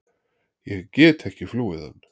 Ég get ekki flúið hann.